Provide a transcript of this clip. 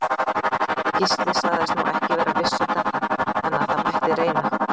Gísli sagðist nú ekki vera viss um þetta, en að það mætti reyna.